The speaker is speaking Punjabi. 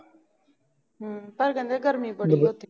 ਹੂ ਪਰ ਕਹਿੰਦੇ ਗਰਮੀ ਬੜੀ ਆ ਉਥੇ